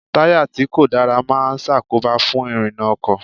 Táyà tí kò dára máa ṣàkóbá fún ìrìnà ọkọ̀.